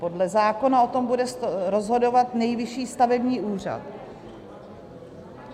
Podle zákona o tom bude rozhodovat Nejvyšší stavební úřad.